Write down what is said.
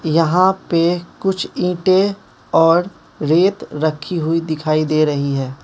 यहां पे कुछ ईंटें और रेत रखी हुई दिखाई दे रही है।